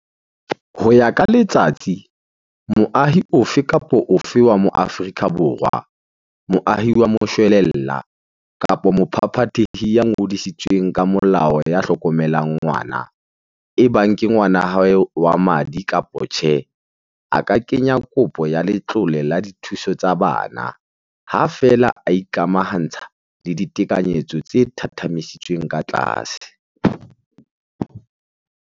Ho ya ka Letsatsi, moahi ofe kapa ofe wa Moafrika Borwa, moahi wa moshwelella kapa mophaphathehi ya ngodisitsweng ka molao ya hlokomelang ngwana, ebang ke ngwana wa hae wa madi kapa tjhe, a ka kenya kopo ya letlole la dithuso tsa bana, ha feela a ikamahantsha le ditekanyetso tse thathamisitsweng ka tlase.